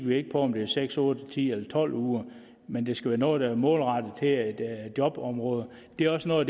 vi ikke på om det er seks otte ti eller tolv uger men det skal være noget der er målrettet jobområder det er også noget